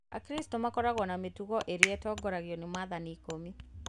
Akristo makoragwo na mĩtugo arĩa atongoragio nĩ maathani ikũmi